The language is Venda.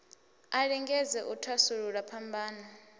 a lingedze u thasulula phambano